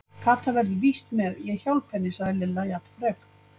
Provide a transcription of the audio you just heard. Kata verður víst með, ég hjálpa henni sagði Lilla jafn frek.